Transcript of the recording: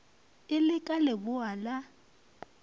e le ka leboa la